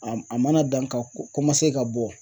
A a mana dan ka ka bɔ